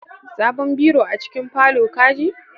Sabon biro a cikin parlour, ka ji?